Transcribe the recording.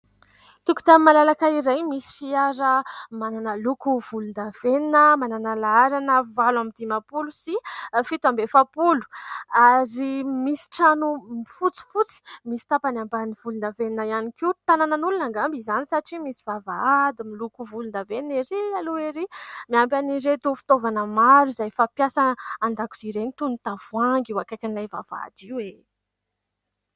Tokontany malalaka iray misy fiara manana loko volondavenona, manana laharana valo amby dimapolo sy fito amby efapolo ary misy trano fotsifotsy misy tapany ambany volondavenona ihany koa. Tanànan'olona angamba izany satria misy vavahady miloko volondavenona ery aloha erỳ, miampy an'ireto fitaovana maro izay efa fampiasa andakozia ireny toy ny tavoahangy eo akaikin'ilay vavahady io e !